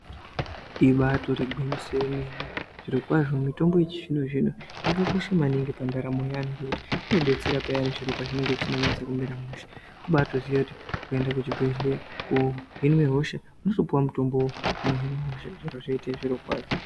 Ibatori gwinyiso remene zviro kwazvo mitombo yechizvino zvino Yakakosha maningi pandaramo yevantu ngekuti inodetsera piyani zviro pazvinenge zvisina kumira mushe kubatoziya kuti ukaenda kuchibhedhlera kohinwa hosha unobatopiwa mutombo inohina hosha zviro zvoita zviro kwazvo.